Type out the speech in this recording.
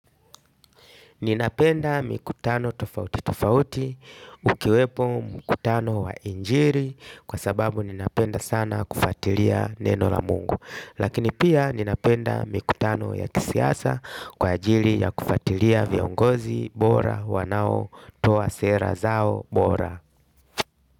Ninapenda mikutano tofauti tofauti, ukiwepo mkutano wa injili, kwa sababu ninapenda sana kufatilia neno la mungu. Lakini pia ninapenda mikutano ya kisiasa kwa ajili ya kufatilia viongozi, bora, wanaotoa sera zao bora.